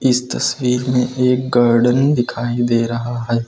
इस तस्वीर में एक गार्डन दिखाई दे रहा है।